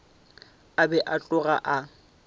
a be a tloga a